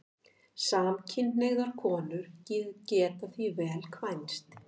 Samkynhneigðar konur geta því vel kvænst.